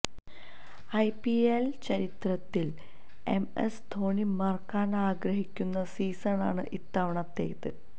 IPL ചരിത്രത്തിൽ M S Dhoni മറക്കാൻ ആഗ്രഹിക്കുന്ന സീസൺ ആണ് ഇത്തവണത്തേത്